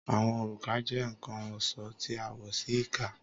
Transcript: Awọn oruka jẹ nkan ọṣọ ti a wọ si ika